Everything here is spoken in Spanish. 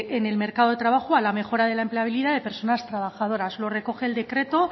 en el mercado de trabajo a la mejora de la empleabilidad de personas trabajadoras lo recoge el decreto